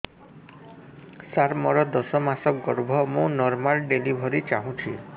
ସାର ମୋର ଦଶ ମାସ ଗର୍ଭ ମୁ ନର୍ମାଲ ଡେଲିଭରୀ ଚାହୁଁଛି